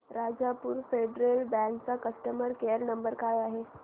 Rajapur Federal Bank चा customer care number काय आहे